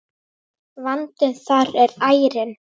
Vandinn þar er ærinn.